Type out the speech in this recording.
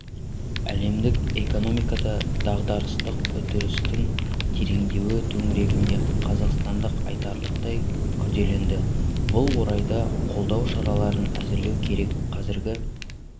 әлемдік экономикада дағдарыстық үрдістің тереңдеуі төңірегінде қазақстандық айтарлықтай күрделенді бұл орайда қолдау шараларын әзірлеу керек қазіргі